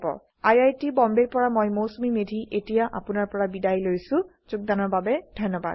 I I T Bombay ৰ পৰা মই মৌচুমী মেধী এতিয়া আপুনাৰ পৰা বিদায় লৈছো যোগদানৰ বাবে ধন্যবাদ